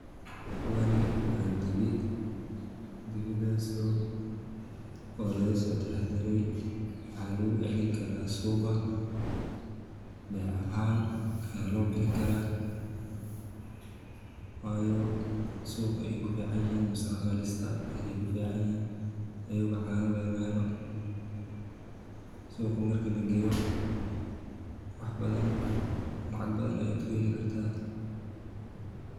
Kuwani waa dibi, dibidaas oo lagasoo taxadiray, waxaa lagu cilin karaa suuqa, beec ahaan aa loo bixin karaa, waayo suuqa ayey kufiicanyihin mise daqaalistay kuficanyihin ayago cana lagamahelo, suuqa marki lagageeyo wax badan lacag badan aya kuheli kartaa.